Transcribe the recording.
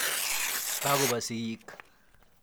Kakopa sigiik.